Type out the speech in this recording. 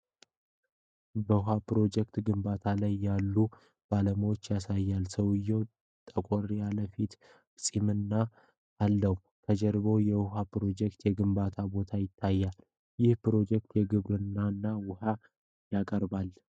በውሃ ፕሮጀክት ግንባታ ላይ ያሉ ባለሙያዎችን ያሳያል። ሰውየው ጠቆር ያለ የፊት ገጽታና ፂም አለው። ከጀርባው የውሃ ፕሮጀክቱ የግንባታ ቦታ ይታያል። ይህ ፕሮጀክት የግብርና ውኃ ያቀርባል?